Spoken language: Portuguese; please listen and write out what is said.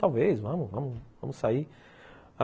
Talvez, vamos sair, vamos sair